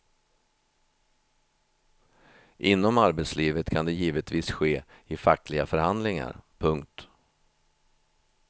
Inom arbetslivet kan det givetvis ske i fackliga förhandlingar. punkt